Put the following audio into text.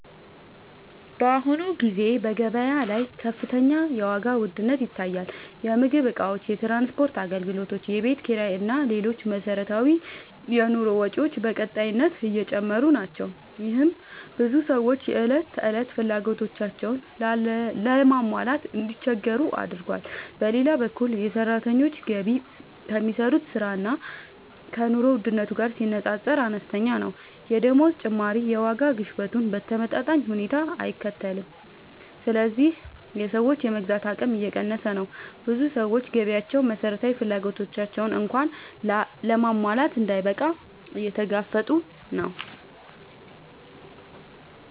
በአሁኑ ጊዜ በገበያ ላይ ከፍተኛ የዋጋ ውድነት ይታያል። የምግብ እቃዎች፣ የትራንስፖርት አገልግሎቶች፣ የቤት ኪራይ እና ሌሎች መሠረታዊ የኑሮ ወጪዎች በቀጣይነት እየጨመሩ ናቸው። ይህም ብዙ ሰዎች የዕለት ተዕለት ፍላጎቶቻቸውን ለማሟላት እንዲቸገሩ አድርጓል። በሌላ በኩል የሰራተኞች ገቢ ከሚሰሩት ሥራ እና ከኑሮ ውድነቱ ጋር ሲነጻጸር አነስተኛ ነው። የደመወዝ ጭማሪ የዋጋ ግሽበቱን በተመጣጣኝ ሁኔታ አይከተልም፣ ስለዚህ የሰዎች የመግዛት አቅም እየቀነሰ ነው። ብዙ ሰዎች ገቢያቸው መሠረታዊ ፍላጎቶቻቸውን እንኳን ለማሟላት እንዳይበቃ እየተጋፈጡ ነው።